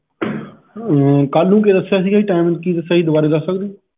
ਕਲ ਨੂੰ ਕੀ ਦਸਿਆ ਸੀ ਗਾ ਜੀ timing ਕਿ ਦਸਿਆ ਸੀ ਦਵਾਰੇ ਦੱਸ ਸਕਦੇ ਓ?